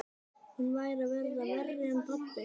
Hún væri að verða verri en pabbi.